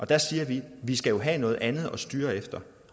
der siger vi vi skal have noget andet at styre efter